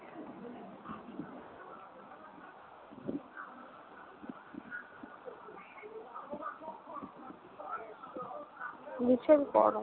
ভীষণ গরম।